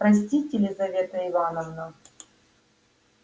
простите лизавета ивановна